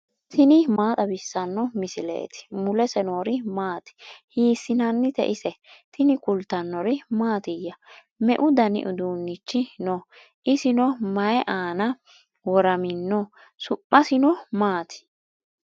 tini maa xawissanno misileeti ? mulese noori maati ? hiissinannite ise ? tini kultannori mattiya? meu danni uduunichi noo? isinno mayi aanna woramminno? su'missinno maatti?